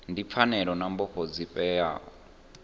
ndi pfanelo na mbofho dzifhio